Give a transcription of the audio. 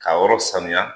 K'a yɔrɔ sanuya